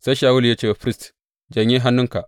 Sai Shawulu ya ce wa firist, Janye hannunka.